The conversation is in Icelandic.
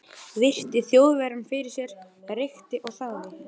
vegna þess að málefni þurfti mjög skjótrar úrlausnar.